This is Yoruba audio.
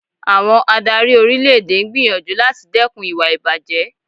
Àwọn adárí orílẹ̀ èdè ń gbìyànjú láti dẹkùn ìwà ìbàjé.